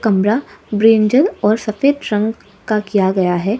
ब्रा brinjal और सफेद रंग का किया गया है।